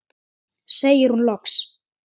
segir hún loks.